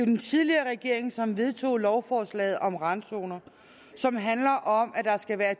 den tidligere regering som vedtog lovforslaget om randzoner som handler om at der skal være